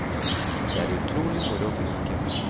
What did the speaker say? Det er utrolig moro å fiske.